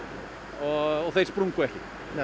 og þeir sprungu ekki